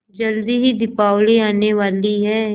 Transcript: जल्दी ही दीपावली आने वाली है